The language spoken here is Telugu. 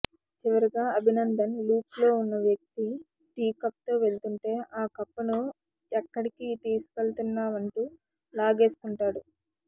చివరగా అభినందన్ లుక్లో ఉన్న వ్యక్తి టీ కప్తో వెళ్తుంటే ఆ కప్పును ఎక్కడికి తీసుకెళ్తున్నావంటూ లాగేసు కుంటారు